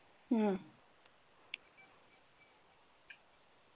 ਹਮ